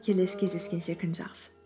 келесі кездескенше күн жақсы